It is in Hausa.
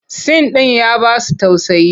Sin ɗin ya ba su tausayi.